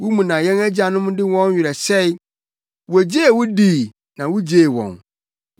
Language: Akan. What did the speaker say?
Wo mu na yɛn agyanom de wɔn werɛ hyɛe; wogyee wo dii, na wugyee wɔn.